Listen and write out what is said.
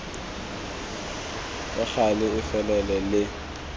ka gale e felele le